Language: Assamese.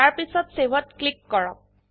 তাৰপিছত Saveত ক্লিক কৰক